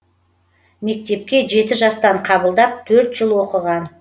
мектепке жеті жастан қабылдап төрт жыл оқыған